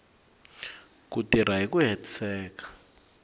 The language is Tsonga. ku tirha hi ku hetiseka